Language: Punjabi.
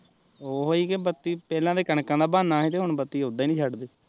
ਓਹੀ ਕਿ ਬੱਤੀ ਪਹਿਲਾਂ ਕਣਕਾਂ ਦਾ ਬਹਾਨਾ ਸੀ ਹੁਣ ਬਤੀ ਓਦਾ ਈ ਨੀ ਛੱਡਦੇ